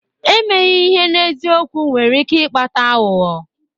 Emeghị ihe n'eziokwu nwere ike ịkpata aghụghọ.